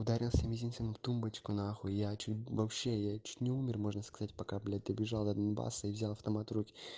ударился мизинцем об тумбочку на хуй я чуть вообще я чуть не умер можно сказать пока блядь побежал до донбасса и взял автомат в руки